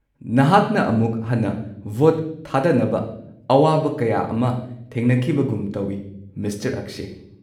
ꯅꯍꯥꯛꯅ ꯑꯃꯨꯛ ꯍꯟꯅ ꯚꯣꯠ ꯊꯥꯗꯅꯕ ꯑꯋꯥꯕ ꯀꯌꯥ ꯑꯃ ꯊꯦꯡꯅꯈꯤꯕꯒꯨꯝ ꯇꯧꯏ ꯃꯤꯁꯇꯔ ꯑꯛꯁꯦ꯫